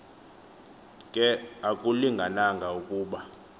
ke akulingananga ukuba